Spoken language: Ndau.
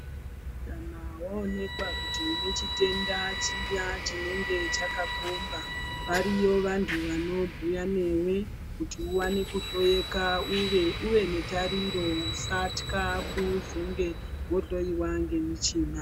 Kana waonekwa kuti une chitenda chiya chinenga chakakomba variyo vantu vanobhuya newe kuti wane kuhloyeka uye uve netariro usatka kuzonge wohloiwa ngemuchina.